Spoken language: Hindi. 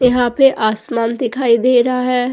यहाँ पे आसमान दिखाई दे रहा है।